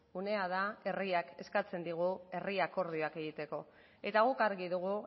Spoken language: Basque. unea da herriak eskatzen digu herri akordioak egiteko eta guk argi dugu